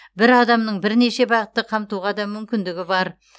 бір адамның бірнеше бағытты қамтуға да мүмкіндігі бар